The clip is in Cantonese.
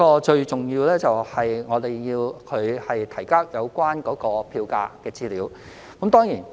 最重要的是，我們要求營辦商提交有關票價的資料。